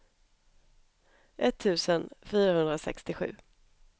etttusen fyrahundrasextiosju